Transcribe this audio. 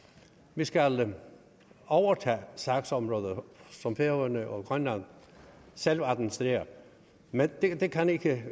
vi skal overtage sagsområder som færøerne og grønland selv administrerer men det kan ikke